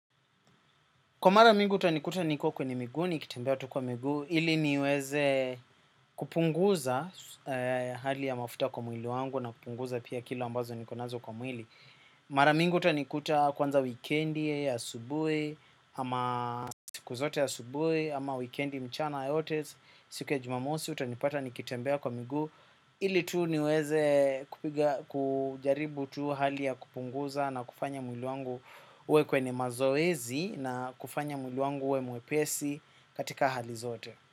Kwa mara mingi utanikuta niko kwenye migu, nikitembea tu kwa migu, ili niweze kupunguza hali ya mafuta kwa mwili wangu na kupunguza pia kilo ambazo niko nazo kwa mwili. Mara mingi utanikuta kwanza wikendi asubuhi, ama siku zote ya asubuhi, ama wikendi mchana yote, siku ya jumamosi, utanipata nikitembea kwa migu. Ili tu niweze kujaribu tu hali ya kupunguza na kufanya mwili wangu uwe kwenye mazoezi na kufanya mwili wangu uwe mwepesi katika hali zote.